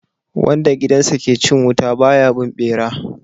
Wanda gidansa ke cin wuta ba ya bin bera